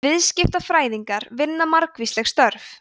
viðskiptafræðingar vinna margvísleg störf